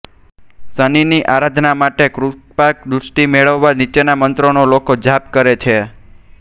શનિની આરાધના માટે કે કૃપાદૃષ્ટિ મેળવવા નીચેના મંત્રો નો લોકો જાપ કરે છે